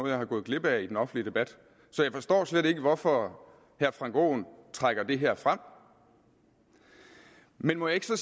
jeg er gået glip af i den offentlige debat så jeg forstår slet ikke hvorfor herre frank aaen trækker det her frem men må jeg så